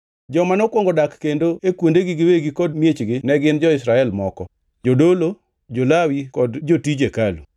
Joma nokwongo dak kendo e kuondegi giwegi kod miechgi ne gin jo-Israel moko, jodolo, jo-Lawi kod jotij hekalu.